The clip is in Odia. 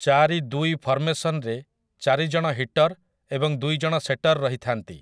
ଚାରି ଦୁଇ ଫର୍ମେସନ୍‌ରେ ଚାରି ଜଣ ହିଟର୍ ଏବଂ ଦୁଇ ଜଣ ସେଟର୍ ରହିଥାନ୍ତି ।